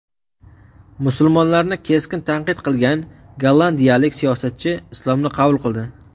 Musulmonlarni keskin tanqid qilgan gollandiyalik siyosatchi islomni qabul qildi.